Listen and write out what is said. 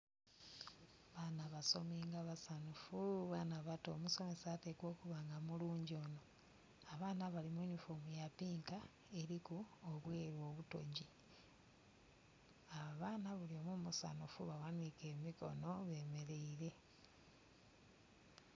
Baana basomi nga basanhufu baana bato omusomesa atekwa okuba nga mulungi ono, abaana bali mu yunifoomu ya pinka eliku obweru obutogi. Abaana buli omu musanhufu baghanike emikono bemereire.